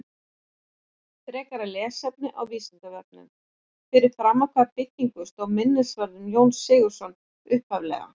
Frekara lesefni á Vísindavefnum: Fyrir framan hvaða byggingu stóð minnisvarðinn um Jón Sigurðsson upphaflega?